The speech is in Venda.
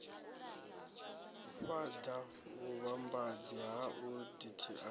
u fhaḓa vhuvhambadzi hau dti